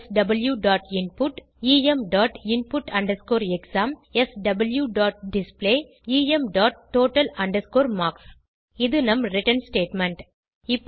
swinput eminput exam swdisplay emtotal marks இது நம் return statement